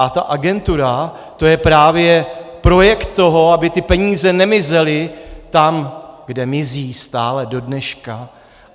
A ta agentura, to je právě projekt toho, aby ty peníze nemizely tam, kde mizí stále do dneška.